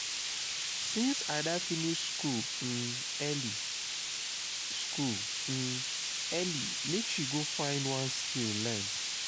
since ada finish school um early school um early make she go find one skill learn